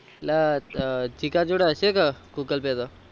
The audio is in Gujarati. અલ જીગા જોડે હશે કે google pay તો